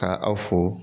Ka aw fo